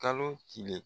Kalo tile